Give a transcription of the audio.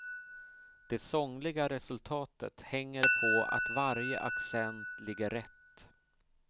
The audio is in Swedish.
Det sångliga resultatet hänger på att varje accent ligger rätt.